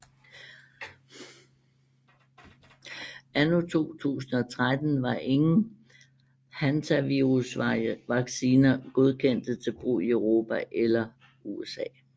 Anno 2013 var ingen hantavirusvacciner godkendte til brug i Europa eller USA